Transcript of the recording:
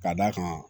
Ka d'a kan